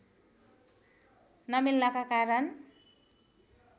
नमिल्नाका कारण